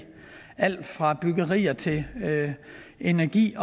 alt fra byggerier til energi